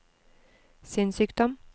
sinnssykdom